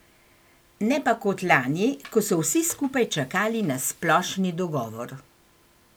Ne pa kot lani, ko so vsi skupaj čakali na splošni dogovor.